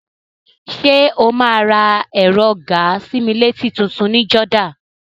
Ṣé o máa ra ẹ̀rọ gàa-sí-mí-létí tutun ní Jordan?